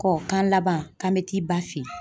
Kɔ k'an laban k'an bɛ t'i ba fɛ yen